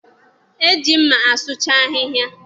E ji mma asụcha ahịhịa.